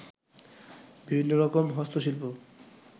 বিভিন্ন রকম হস্ত শিল্প